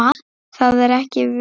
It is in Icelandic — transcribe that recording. Það er ekki víst.